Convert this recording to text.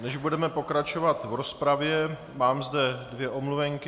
Než budeme pokračovat v rozpravě, mám zde dvě omluvenky.